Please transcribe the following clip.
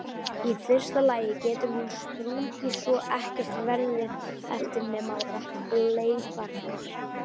Í fyrsta lagi getur hún sprungið svo ekkert verði eftir nema leifarnar.